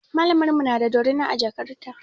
Malamar mu na da dorina a jakar ta.